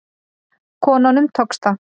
Konunum tókst það.